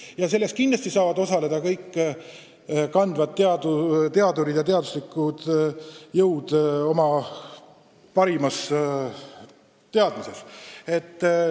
Ja selles töös saavad kindlasti osaleda kõik juhtivad teadurid ja muud teaduslikud jõud.